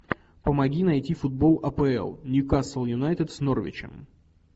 помоги найти футбол апл ньюкасл юнайтед с норвичем